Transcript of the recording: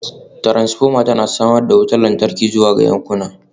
Transformer na samar da wutar lantarki zuwa ga yankina